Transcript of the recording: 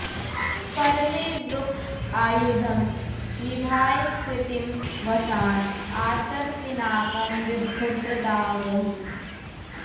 परमे व्रुक्ष आयुधं निधाय कृत्तिं वसान आचर पिनाकं विभ्रदागहि